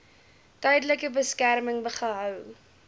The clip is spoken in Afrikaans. tydelike beskerming gehou